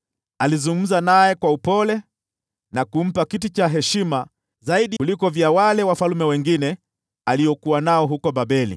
Alizungumza naye kwa upole na kumpa kiti cha heshima zaidi kuliko wale wafalme wengine aliokuwa nao huko Babeli.